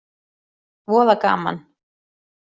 Voða gaman.